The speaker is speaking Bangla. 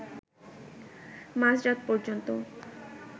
মাঝরাত পর্যন্ত